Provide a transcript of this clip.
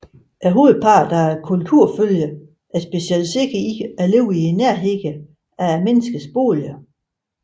Hovedparten er kulturfølgere og er specialiserede i at leve i nærheden af menneskets boliger